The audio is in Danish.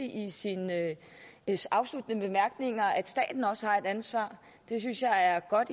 i sine afsluttende bemærkninger nævnte at staten også har et ansvar det synes jeg er godt